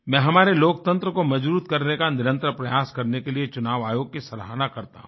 मैं हमारे लोकतंत्र को मजबूत करने का निरंतर प्रयास करने के लिए चुनाव आयोग की सराहना करता हूँ